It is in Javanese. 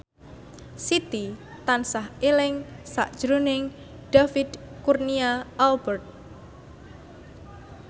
Siti tansah eling sakjroning David Kurnia Albert